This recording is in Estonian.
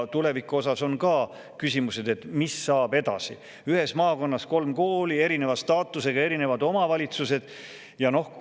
Tuleviku osas on küsimus, et mis saab edasi: ühes maakonnas on kolm kooli, erineva staatusega, erinevate omavalitsuste.